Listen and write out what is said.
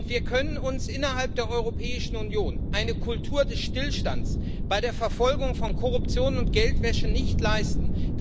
Wir können uns innerhalb der Europäischen Union eine Kultur des Stillstands bei der Verfolgung von Korruption und Geldwäsche nicht leisten.